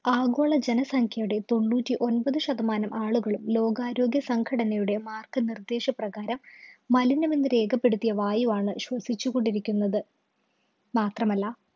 ആഗോള ജനസംഖ്യയുടെ തൊണ്ണൂറ്റിയൊമ്പത് ശതമാനം ആളുകളും ലോകാരോഗ്യസംഘടനയുടെ മാര്‍ഗനിര്‍ദ്ദേശ പ്രകാരം മലിനമെന്നു രേഖപ്പെടുത്തിയ വായുവാണ് ശ്വസിച്ചു കൊണ്ടിരിക്കുന്നത്.